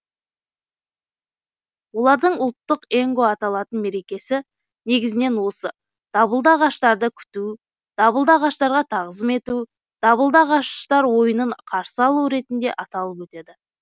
олардың ұлттық енго аталатын мерекесі негізінен осы дабылды ағаштарды күту дабылды ағаштарға тағзым ету дабылды ағаштар ойынын қарсы алу ретінде аталып өтеді